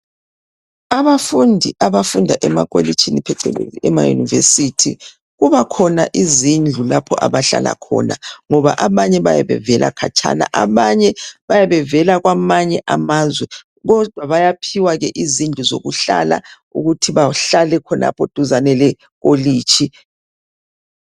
Abafundi abafunda emakolitshini phecelezi emaYunivesithi, kubakhona izindlu lapho abahlala khona ngoba abanye bayabevela khatshana, abanye bayabe bevela kwamanye amazwe kodwa bayaphiwa izindlu zokuhlala ukuthi bahlale khonapha duzane lekolitshi.